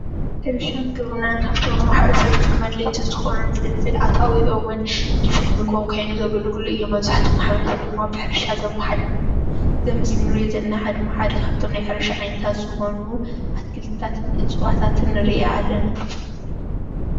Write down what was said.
ሕርሻን ግብርናን ካብቶም ንማሕበረሰብ ብጣዕሚ ኣድለይቲ ዝኮኑ ፍልፍል ኣታዊኦምን ፍልፍል ምግቦም ኮይኑ ዘገልግል እዮም መብዛሕትኡ ማሕበረሰብ ብሕርሻ ዝመሓደር እዚ ምስሊ እንሪኦ ዘለና ድማ ሓደ ካብቶም ናይ ሕርሻ ዓይነታት ዝኮኑ ኣትክልትታትን እፅዋታትን ንርኢ ኣለና ።